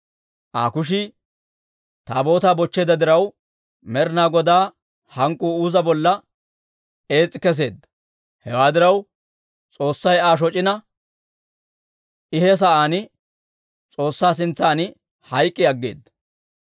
Aa kushii Taabootaa bochcheedda diraw, Med'inaa Godaa hank'k'uu Uuza bolla ees's'i kesseedda. Hewaa diraw, S'oossay Aa shoc'ina, I he sa'aan S'oossaa sintsan hayk'k'i aggeeda.